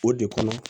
O de kɔnɔ